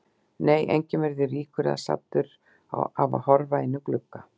Nei, enginn verður ríkur eða saddur af að horfa inn um glugga.